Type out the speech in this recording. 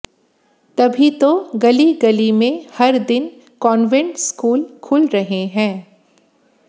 तभी तो गली गली में हर दिन कान्वेंट स्कूल खुल रहे हैं